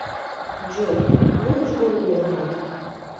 джой любишь голову ломать